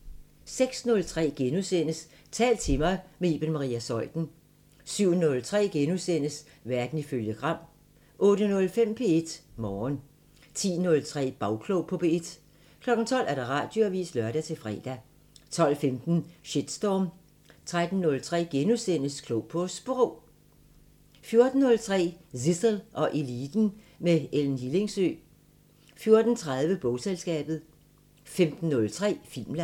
06:03: Tal til mig – med Iben Maria Zeuthen * 07:03: Verden ifølge Gram * 08:05: P1 Morgen 10:03: Bagklog på P1 12:00: Radioavisen (lør-fre) 12:15: Shitstorm 13:03: Klog på Sprog * 14:03: Zissel og Eliten: Med Ellen Hillingsø 14:30: Bogselskabet 15:03: Filmland